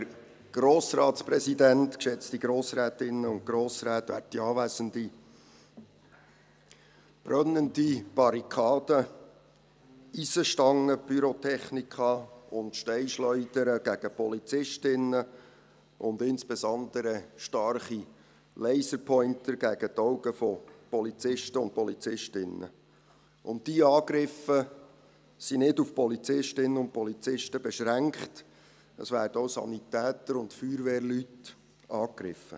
Brennende Barrikaden, Eisenstangen, Pyrotechnika und Steinschleudern gegen Polizistinnen, und insbesondere starke Laserpointer gegen die Augen von Polizisten und Polizistinnen: Diese Angriffe sind nicht auf Polizistinnen und Polizisten beschränkt, es werden auch Sanitäter und Feuerwehrleute angegriffen.